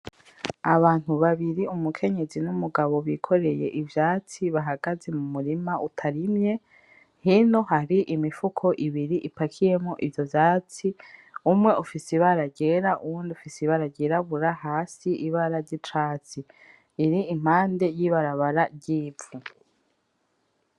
Abantu babiri, umukenyezi n'umugabo bikoreye ivyatsi bahagaze mu murima utarimye. Hino hari imifuko ibiri ipakiyemwo ivyo vyatsi. Umwe ufise ibara ryera uwundi ufise ibara ry'irabura, hasi ibara ry'icatsi. Iri impande y'ibarabara ry'ivu.